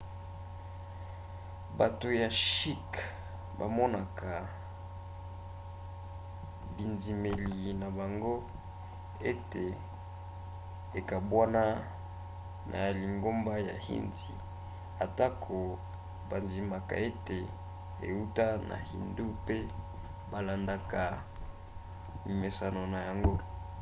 bato ya shikhs bamonaka bindimeli na bango ete ekabwana na ya lingomba ya hindu atako bandimaka ete euta na hindu pe balandaka mimeseno na yango